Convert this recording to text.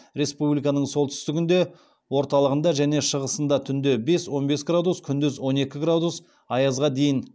республиканың солтүстігінде орталығында және шығысында түнде бес он бес градус күндіз он екі аязға дейін